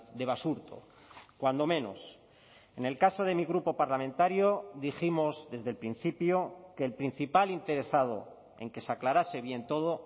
de basurto cuando menos en el caso de mi grupo parlamentario dijimos desde el principio que el principal interesado en que se aclarase bien todo